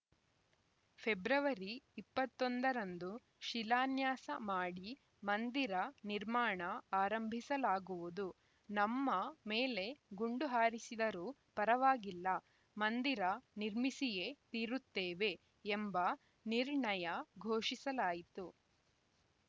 February ಇಪ್ಪತ್ತ್ ಒಂದರಂದು ಶಿಲಾನ್ಯಾಸ ಮಾಡಿ ಮಂದಿರ ನಿರ್ಮಾಣ ಆರಂಭಿಸಲಾಗುವುದು ನಮ್ಮ ಮೇಲೆ ಗುಂಡು ಹಾರಿಸಿದರೂ ಪರವಾಗಿಲ್ಲ ಮಂದಿರ ನಿರ್ಮಿಸಿಯೇ ತೀರುತ್ತೇವೆ ಎಂಬ ನಿರ್ಣಯ ಘೋಷಿಸಲಾಯಿತು